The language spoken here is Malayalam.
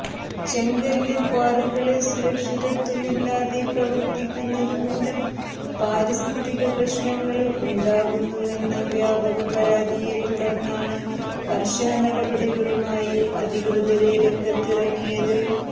ചെങ്കല് ക്വാറികള് സുരക്ഷിതത്വമില്ലാതെ പ്രവര്ത്തിക്കുന്നത് മൂലം പാരിസ്ഥിക പ്രശ്നങ്ങള് ഉണ്ടാകുന്നുവെന്ന വ്യാപക പരാതിയെ തുടര്ന്നാണ് കര്ശന നടപടികളുമായി അധികൃതര് രംഗത്തിറങ്ങിയത്